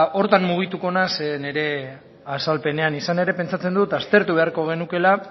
horretan mugituko naiz nire azalpenean izan ere pentsatzen dut aztertu beharko genukeela